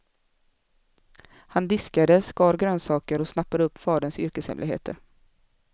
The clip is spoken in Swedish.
Han diskade, skar grönsaker och snappade upp faderns yrkeshemligheter.